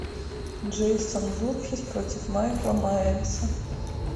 джейсон вурхиз против майкла майерса